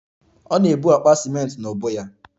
Ọ na-ebu akpa ciment n'ubu ya